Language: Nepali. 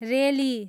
रेली